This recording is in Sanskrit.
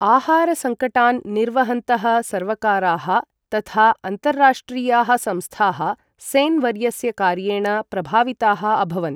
आहारसङ्कटान् निर्वहन्तः सर्वकाराः तथा अन्ताराष्ट्रियाः संस्थाः सेन् वर्यस्य कार्येण प्रभाविताः अभवन्।